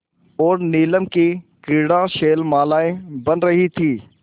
और नीलम की क्रीड़ा शैलमालाएँ बन रही थीं